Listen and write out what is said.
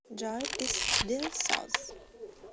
джой дилсоз